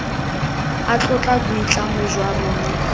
a tlotla boitlamo jwa rona